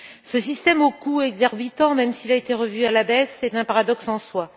Ce système au coût exorbitant, même s'il a été revu à la baisse, est un paradoxe en soi.